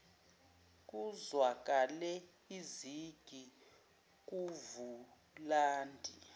kuzwakale izigi kuvulandi